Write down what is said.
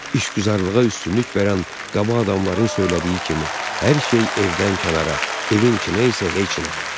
İşgüzarlığa üstünlük verən qaba adamların söylədiyi kimi hər şey evdən kənara, evin içinə isə heç nə.